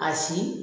A si